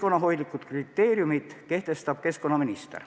Need kriteeriumid kehtestab keskkonnaminister.